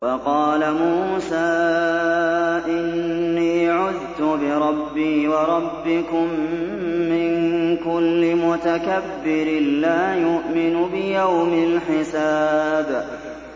وَقَالَ مُوسَىٰ إِنِّي عُذْتُ بِرَبِّي وَرَبِّكُم مِّن كُلِّ مُتَكَبِّرٍ لَّا يُؤْمِنُ بِيَوْمِ الْحِسَابِ